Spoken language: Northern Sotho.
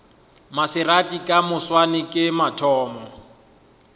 maserati ka moswane ke mathomo